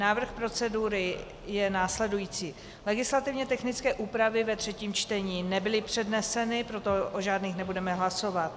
Návrh procedury je následující: Legislativně technické úpravy ve třetím čtení nebyly předneseny, proto o žádných nebudeme hlasovat.